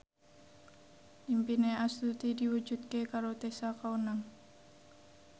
impine Astuti diwujudke karo Tessa Kaunang